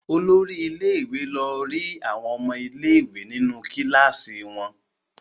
Olori ilé-ìwé lọ rí àwọn ọmọ ilé-ìwé nínú kíláàsì wọn.